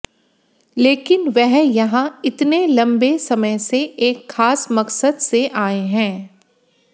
लेकिन वह यहां इतने लंबे समय से एक खास मकसद से आए हैं